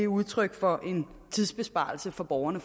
udtryk for en tidsbesparelse for borgerne